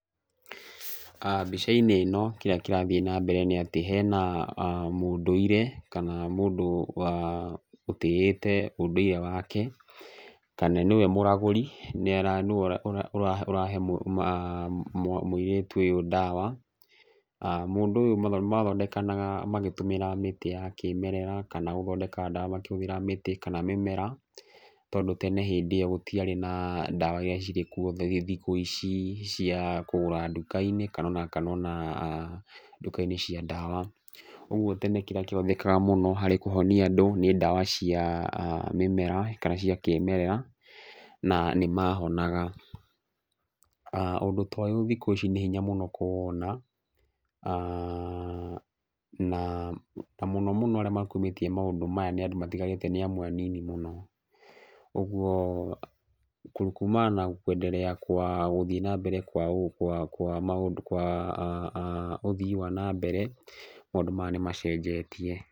Aah mbica-inĩ ĩno kĩrĩa kĩrathiĩ na mbere nĩ atĩ, hena mũndũire kana mũndũ aah ũtĩĩte ũndũire wake, kana nĩwe mũragũri nĩara, nĩwe ũra ũra ũrahe mũirĩtu ũyũ ndawa, aah mũndũ ũyũ mathondekanaga magĩtũmĩra mĩtĩ ya kĩmerera kana gũthondeka ndawa makĩhũthĩra mĩtĩ kana mĩmera tondũ tene hĩndĩ ĩyo gũtiarĩ na ndawa iria cirĩ kuo thikũ ici cia kũgũra nduka-inĩ, kana ona, kana ona nduka-inĩ cia dawa, ũguo tene kĩrĩa kĩonekaga mũno harĩ kũhonia andũ, nĩ ndawa cia mĩmera, kana cia kĩmerera na nĩmahonaga, aah ũndũ ta ũyũ thikũ ici nĩ hinya mũno kũwona aah naa na mũno mũno arĩa makumĩtie maũndũ maya nĩ andũ matiganĩte nĩamwe anini mũno, ũguo kumana na kwendelea kwa gũthiĩ na mbere kwa kwa maũndũ kwa [aah aah] ũthii wa nambere maũndũ maya nĩmacenjetie.